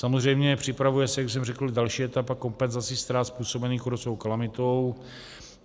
Samozřejmě připravuje se, jak jsem řekl, další etapa kompenzace ztrát způsobených kůrovcovou kalamitou.